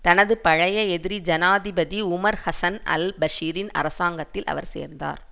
தனது பழைய எதிரி ஜனாதிபதி உமர் ஹசன் அல் பஷீரின் அரசாங்கத்தில் அவர் சேர்ந்தார்